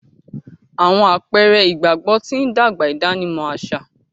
Awọn àpẹrẹ ìgbàgbọ tí n dàgbà ìdánimọ̀ aṣa